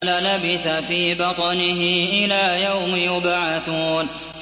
لَلَبِثَ فِي بَطْنِهِ إِلَىٰ يَوْمِ يُبْعَثُونَ